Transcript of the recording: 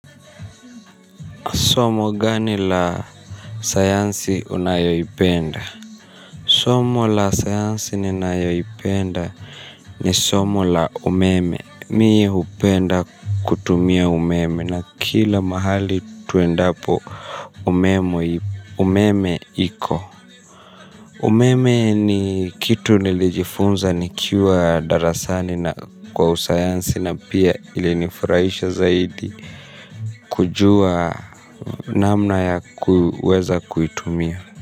Somo gani la sayansi unayoipenda? Somo la sayansi ninayoipenda ni somo la umeme. Mie hupenda kutumia umeme na kila mahali tuendapo umeme iko. Umeme ni kitu nilijifunza nikiwa darasani kwa usayansi na pia ili nifurahisha zaidi. Kujua namna ya kuweza kuitumia.